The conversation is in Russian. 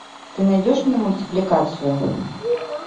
ты найдешь мне мультипликацию